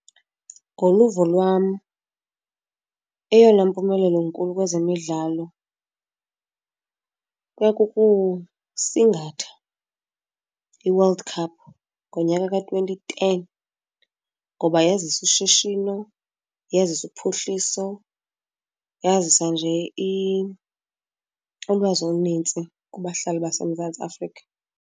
Ngoluvo lwam eyona mpumelelo inkulu kwezemidlalo kuya kukusingatha iWorld Cup ngonyaka ka-twenty ten, ngoba yazisa ushishino, yazisa uphuhliso, yazisa nje ulwazi olunintsi kubahlali baseMzantsi Afrika.